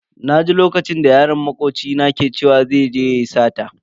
Naji lokacin da yaron makoci na ke cewa zai je yayi sata.